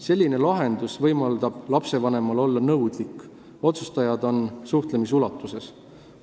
Selline lahendus võimaldab lapsevanemal olla nõudlik, sest otsustajad on suhtlemisulatuses.